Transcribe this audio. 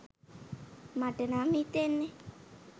මට නම් හිතෙන්නේ.